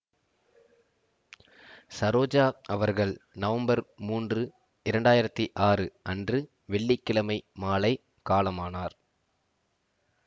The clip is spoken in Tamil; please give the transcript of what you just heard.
சரோஜா அவர்கள் நவம்பர் மூன்று இரண்டாயிரத்தி ஆறு அன்று வெள்ளி கிழமை மாலை காலமானார்